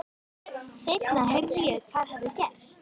Seinna heyrði ég hvað hafði gerst.